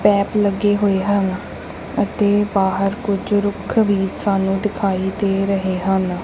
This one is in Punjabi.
ਪੈਪ ਲੱਗੇ ਹੋਏ ਹਨ ਅਤੇ ਬਾਹਰ ਕੁੱਝ ਰੁੱਖ ਵੀ ਸਾਨੂੰ ਦਿਖਾਈ ਦੇ ਰਹੇ ਹਨ।